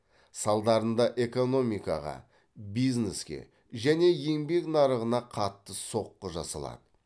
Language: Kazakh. салдарында экономикаға бизнеске және еңбек нарығына қатты соққы жасалады